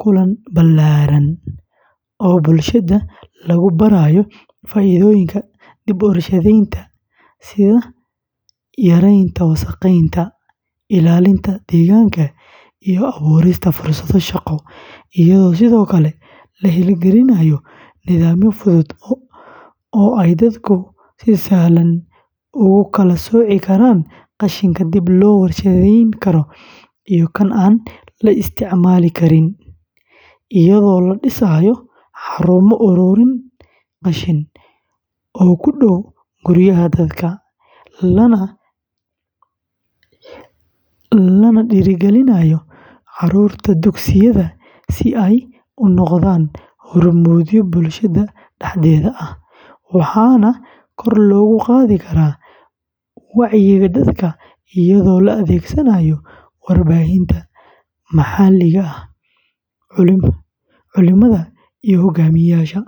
kulan ballaaran oo bulshada lagu barayo faa’iidooyinka dib u warshadaynta sida yaraynta wasakheynta, ilaalinta deegaanka, iyo abuurista fursado shaqo, iyadoo sidoo kale la hirgelinayo nidaamyo fudud oo ay dadku si sahlan ugu kala sooci karaan qashinka dib loo warshadayn karo iyo kan aan la isticmaali karin, iyadoo la dhisayo xarumo uruurin qashin oo ku dhow guryaha dadka, lana dhiirrigelinayo carruurta dugsiyada si ay u noqdaan hormuudyo bulshada dhexdeeda ah, waxaana kor loogu qaadi karaa wacyiga dadka iyadoo la adeegsado warbaahinta maxalliga ah, culimada, iyo hogaamiyeyaasha.